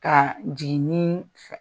Ka jiginni fɛ